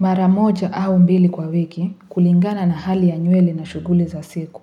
Mara moja au mbili kwa wiki kulingana na hali ya nywele na shughuli za siku.